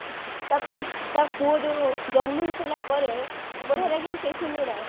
ତା ପୁଅ ଯୋଉ ଜନ୍ମ ହେଇସାରିଲା ପରେ ବଢିଆ ଲାଗେନି ସେଇ scene ଗୁଡା